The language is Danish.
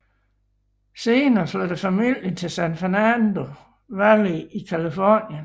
Senere flyttede familien til San Fernando Valley i Californien